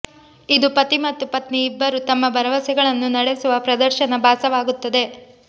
ಇದು ಪತಿ ಮತ್ತು ಪತ್ನಿ ಇಬ್ಬರೂ ತಮ್ಮ ಭರವಸೆಗಳನ್ನು ನಡೆಸುವ ಪ್ರದರ್ಶನ ಭಾಸವಾಗುತ್ತದೆ